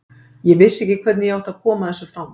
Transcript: Ég vissi ekki hvernig ég átti að koma þessu frá mér.